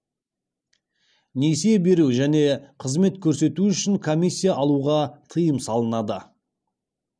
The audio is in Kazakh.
несие беру және қызмет көрсету үшін комиссия алуға тыйым салынады